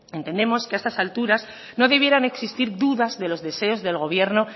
entendemos que a estas alturas no debieran existir dudas de los deseos del gobierno